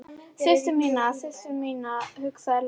Systur mína, systur mína, hugsaði Lalli.